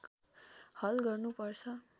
हल गर्नु पर्छ